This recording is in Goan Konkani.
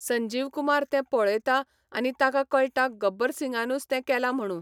संजीव कुमार ते पळेता आनी ताका कळटा गब्बर सिंगानूच ते केला म्हणू